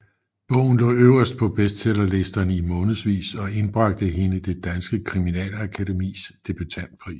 Bogen lå øverst på bestsellerlisterne i månedsvis og indbragte hende Det Danske Kriminalakademis debutantpris